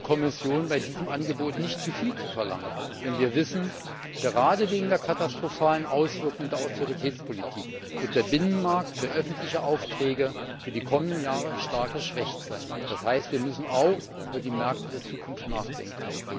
Ich rate der Kommission, bei diesem Angebot nicht zu viel zu verlangen, denn wir wissen, gerade wegen der katastrophalen Auswirkung der Austeritätspolitik wird der Binnenmarkt für öffentliche Aufträge für die kommenden Jahre stark geschwächt sein, das heißt, wir müssen auch über die Märkte der Zukunft nachdenken.